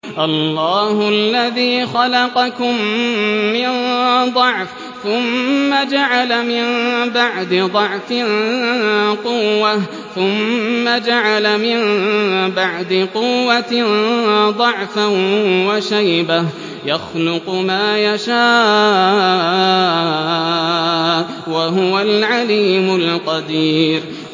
۞ اللَّهُ الَّذِي خَلَقَكُم مِّن ضَعْفٍ ثُمَّ جَعَلَ مِن بَعْدِ ضَعْفٍ قُوَّةً ثُمَّ جَعَلَ مِن بَعْدِ قُوَّةٍ ضَعْفًا وَشَيْبَةً ۚ يَخْلُقُ مَا يَشَاءُ ۖ وَهُوَ الْعَلِيمُ الْقَدِيرُ